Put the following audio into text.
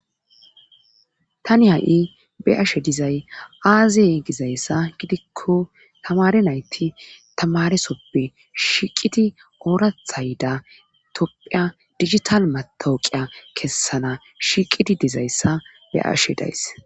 tani ha7i be'ashe dizay aazeye gizayssa gidikko tamare nayti tamaresoppe shiqidi oorathayda toppheya digital matooqiya kessana shiiqidi dizayssa be ashe days